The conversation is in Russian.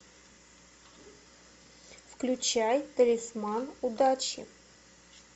включай талисман удачи